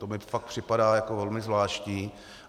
To mi fakt připadá jako velmi zvláštní.